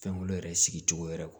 Fɛnkolo yɛrɛ sigi cogo yɛrɛ kɔ